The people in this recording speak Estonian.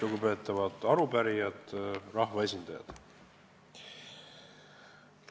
Lugupeetavad arupärijad ja kõik rahvaesindajad!